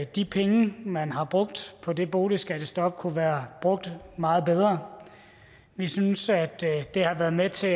de penge man har brugt på det boligskattestop kunne være brugt meget bedre vi synes at det har været med til